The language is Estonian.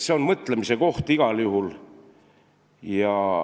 See on mõtlemise koht igal juhul.